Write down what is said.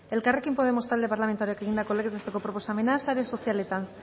elkarrekin podemos talde parlamentarioak egindako legez besteko proposamena sare sozialetan